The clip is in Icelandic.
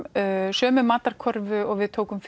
sömu matarkörfu og við tókum